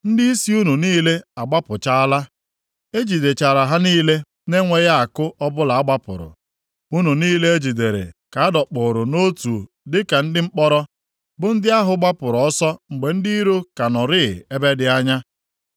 Ndịisi unu niile agbapụchaala. + 22:3 Maọbụ, agbaala ọsọ E jidechara ha niile na-enweghị àkụ ọbụla a gbapụrụ. Unu niile e jidere ka a dọkpụụrụ nʼotu dịka ndị mkpọrọ bụ ndị ahụ gbapụrụ ọsọ mgbe ndị iro ka nọrịị ebe dị anya.